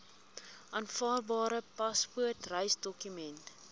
aanvaarbare paspoort reisdokument